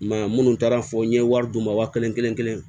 I m'a ye minnu taara fɔ n ye wari d'u ma wa kelen kelen-kelen